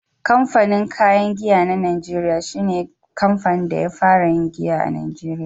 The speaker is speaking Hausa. Kamfanin kayan giya na najeriya shi ne kamfanin da ya fara yin giya a Najeriya.